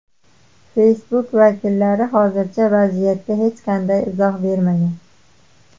Facebook vakillari hozircha vaziyatga hech qanday izoh bermagan.